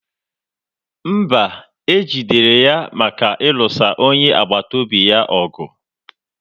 mba, e jidere ya maka ịlụso onye agbata obi ya ọgụ.